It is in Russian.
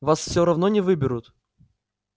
вас все равно не выберут